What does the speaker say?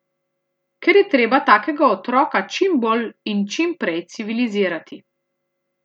Ker je treba takega otroka čim bolj in čim prej civilizirati.